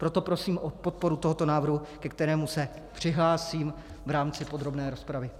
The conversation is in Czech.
Proto prosím o podporu tohoto návrhu, ke kterému se přihlásím v rámci podrobné rozpravy.